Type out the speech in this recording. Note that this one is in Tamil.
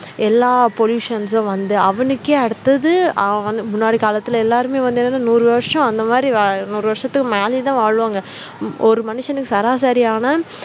எல்லா pollutions ம் வந்து அவனுக்கே அடுத்தது அவன் வந்து முன்னாடி காலத்துல எல்லாருமே வந்து என்னது நூறு வருஷம் அந்த மாதிரி வாழ நூறு வருஷத்துக்கு மேலயும் தான் வாழுவாங்க ஒரு மனுஷனுக்கு சராசரியான